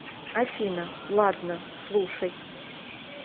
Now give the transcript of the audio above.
афина ладно слушай